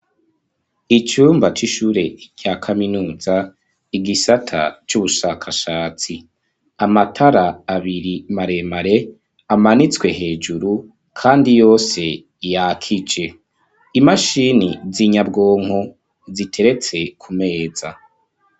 Icumba c'ishure ca kaminuza igisata c'ubushakashatsi amatara abiri maremare amanitswe hejuru kandi yose yakije. Imashini zinyabwonko ziteretse ku meza.